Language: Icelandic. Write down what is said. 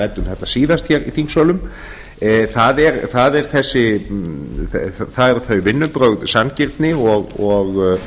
ræddum þetta síðast hér í þingsölum það eru þau vinnubrögð sanngirni og